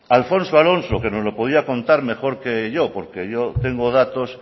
alfonso alonso que nos lo podía contar mejor que yo porque yo tengo datos